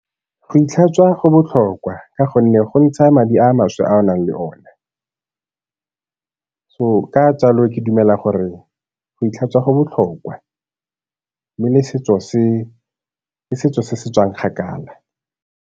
Go itlhatswa go botlhokwa ka gonne go ntsha madi a maswe a o nang le one. So ka jalo ke dumela gore go itlhatswa go botlhokwa, mme le setso se, ke setso se se tswang kgakala.